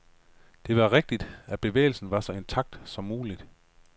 Det var vigtigt, at bevægelsen var så intakt som mulig.